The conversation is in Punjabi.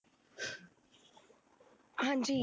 ਹਾਂਜੀ